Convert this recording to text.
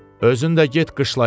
Özün də get qışlaya.